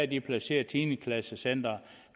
de placeret tiende klasse centrene